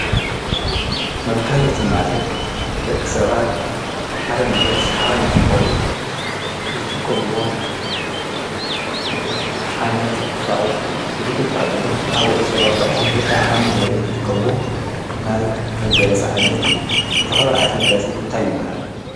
መጋየፂ ማለት ደቂ ሰባት ሓደ ነገር ሰሓባይ ንክኸውን ዝጥቆምዎ ዓይነት ቊሳቁስ እዩ፡፡ እዙይ ክበሃል እንተሎ ኣብ ወድ ሰብ ኣብ ባዕሉ ወይ ከዓ ኣብ መንበሪኦም ዝጥቀምዎ ናይ መጋየፂ ዓይነት እዩ፡፡ ዝኸበረ ዓይነት መጋፂ እንታይ ይበሃል?